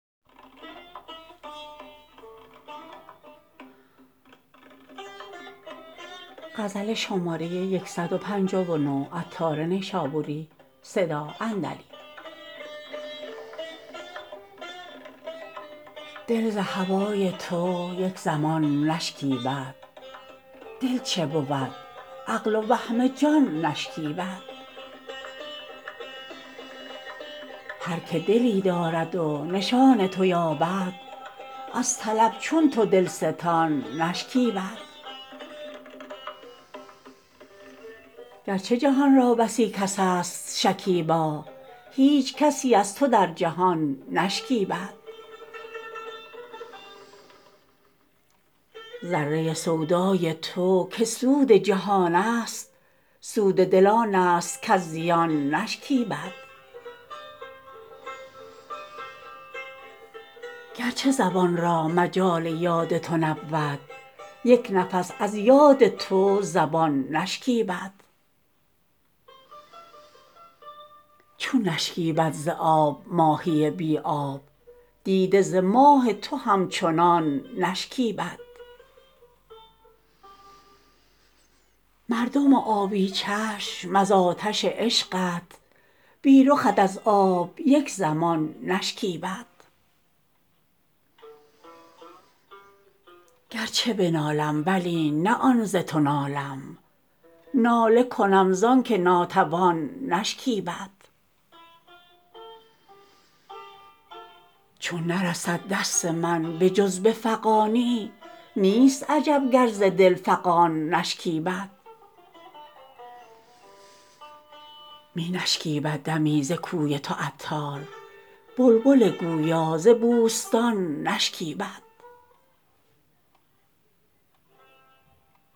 دل ز هوای تو یک زمان نشکیبد دل چه بود عقل و وهم جان نشکیبد هر که دلی دارد و نشان تو یابد از طلب چون تو دلستان نشکیبد گرچه جهان را بسی کس است شکیبا هیچ کسی از تو در جهان نشکیبد ذره سودای تو که سود جهان است سود دل آن است کز زیان نشکیبد گرچه زبان را مجال یاد تو نبود یک نفس از یاد تو زبان نشکیبد چون نشکیبد ز آب ماهی بی آب دیده ز ماه تو همچنان نشکیبد مردم آبی چشم از آتش عشقت بی رخت از آب یک زمان نشکیبد گرچه بنالم ولی نه آن ز تو نالم ناله کنم زانکه ناتوان نشکیبد چون نرسد دست من به جز به فغانی نیست عجب گر ز دل فغان نشکیبد می نشکیبد دمی ز کوی تو عطار بلبل گویا ز بوستان نشکیبد